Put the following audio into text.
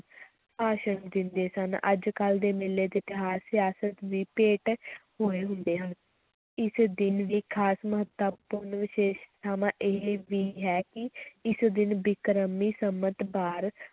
ਭਾਸ਼ਣ ਦਿੰਦੇ ਸਨ, ਅੱਜ-ਕੱਲ੍ਹ ਦੇ ਮੇਲੇ ਤੇ ਤਿਉਹਾਰ ਸਿਆਸਤ ਦੀ ਭੇਟ ਹੋਏ ਹੁੰਦੇ ਹਨ, ਇਸ ਦਿਨ ਦੀ ਖ਼ਾਸ ਮਹੱਤਤਾ ਇਹ ਵੀ ਹੈ ਕਿ ਇਸ ਦਿਨ ਬਿਕਰਮੀ ਸੰਮਤ ਬਾਰ